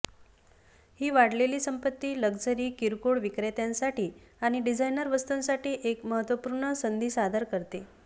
ही वाढलेली संपत्ती लक्झरी किरकोळ विक्रेत्यांसाठी आणि डिझायनर वस्तूंसाठी एक महत्त्वपूर्ण संधी सादर करते